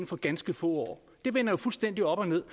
for ganske få år det vender jo fuldstændig op og ned